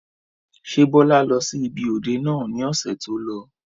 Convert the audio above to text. Ṣé Bọlá lọ sí ibi òde náà ni ọ̀sẹ̀ tó lọ?